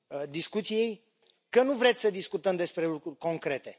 discuției că nu vreți să discutăm despre lucruri concrete.